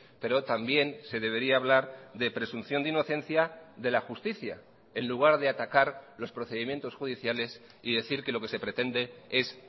pero también se debería hablar de presunción de inocencia de la justicia en lugar de atacar los procedimientos judiciales y decir que lo que se pretende es